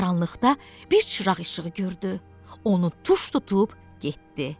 Qaranlıqda bir çıraq işığı gördü, onu tuş tutub getdi.